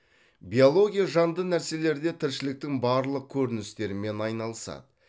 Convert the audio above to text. биология жанды нәрселерде тіршіліктің барлық көріністерімен айналысады